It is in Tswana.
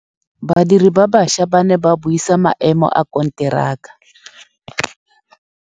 Badiri ba baša ba ne ba buisa maêmô a konteraka.